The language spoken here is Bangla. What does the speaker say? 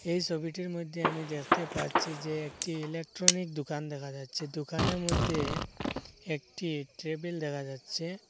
এই সবিটির মইধ্যে আমি দেখতে পাচ্ছি যে একটি ইলেকট্রনিক দোকান দেখা যাচ্ছে দোকানের মইধ্যে একটি টেবিল দেখা যাচ্ছে।